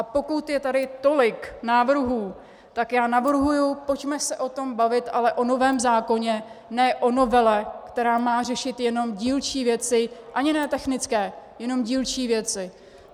A pokud je tady tolik návrhů, tak já navrhuji, pojďme se o tom bavit, ale o novém zákoně, ne o novele, která má řešit jenom dílčí věci, ani ne technické, jenom dílčí věci.